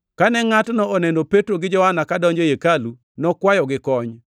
Kane ngʼatno oneno Petro gi Johana kadonjo ei hekalu, nokwayogi kony.